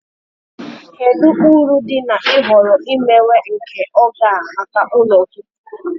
Kedu uru dị na ịhọrọ imewe nke oge a maka ụlọ gị?